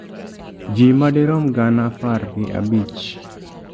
Ji madirom gana apar gi abich